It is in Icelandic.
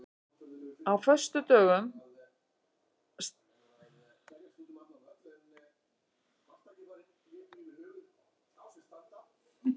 Á föstudögum steðjar mannskapurinn í Ríkið að kaupa bús til helgarinnar.